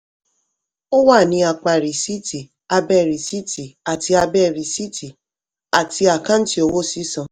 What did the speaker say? ó wà ní apá rìsíìtì abẹ́ rìsíìtì àti abẹ́ rìsíìtì àti àkáǹtì owó sísan.